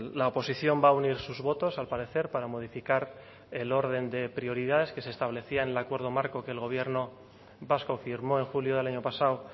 la oposición va a unir sus votos al parecer para modificar el orden de prioridades que se establecía en el acuerdo marco que el gobierno vasco firmó en julio del año pasado